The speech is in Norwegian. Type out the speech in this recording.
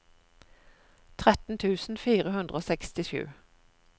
tretten tusen fire hundre og sekstisju